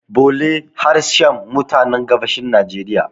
bole harshen mutanen gabashin najeriya